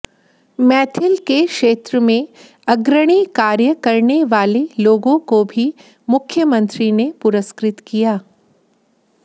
मैथिल के क्षेत्र में अग्रणी कार्य करने वाले लोगों को भी मुख्यमंत्री ने पुरस्कृत किया